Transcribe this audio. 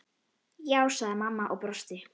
Já, sagði mamma og brosti.